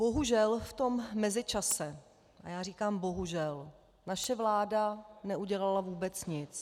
Bohužel v tom mezičase, a já říkám bohužel, naše vláda neudělala vůbec nic.